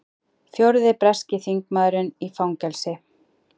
Fjórði breski þingmaðurinn í fangelsi